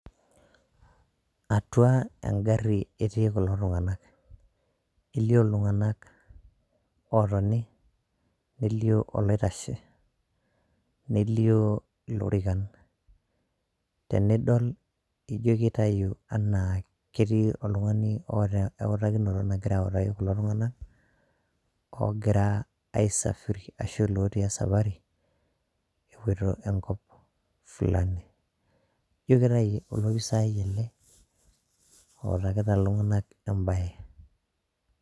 atua engari eti kulo tunganak, elio iltunganak otoni nelio oloitashe nelio ilorikan tenidol, ijio kitau ena keti oltungani ota ewutakinoto, nangira autaki kulo tunganak ongira aisafiri ashu loti esafari epoito enkop fulani ijio kitayu a olopisai ele outakita iltungana embae.